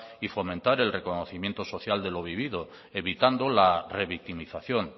y fomentar el reconocimiento social de lo vivido evitando la revictimización